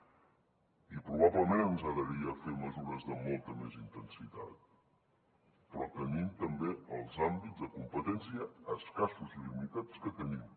i probablement ens agradaria fer mesures de molta més intensitat però tenim també els àmbits de competència escassos i limitats que tenim